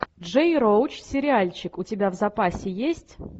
джей роуч сериальчик у тебя в запасе есть